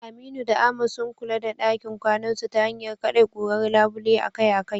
Aminu da Ahmad, sun kula da dakin kwanasu ta hanyar kade kurar labule akai-akai.